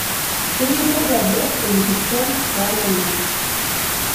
Keyieu neitobirr enkishon oo ltung'ana